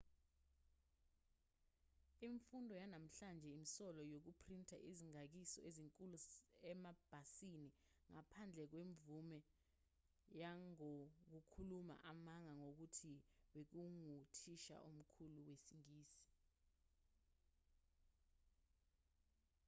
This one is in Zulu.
imfundo yanamuhla imsole ngokuphrinta izikhangiso ezinkulu emabhasini ngaphandle kwemvume nangokukhuluma amanga ngokuthi bekunguthisha omkhulu wesingisi